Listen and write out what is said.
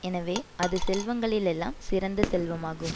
எனவே அது செல்வங்களில் எல்லாம் சிறந்த செல்வமாகும்